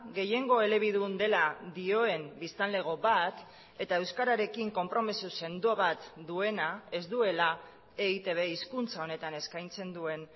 gehiengo elebidun dela dioen biztanlego bat eta euskararekin konpromiso sendo bat duena ez duela eitb hizkuntza honetan eskaintzen duen